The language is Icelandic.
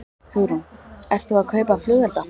Hugrún: Ert þú að kaupa flugelda?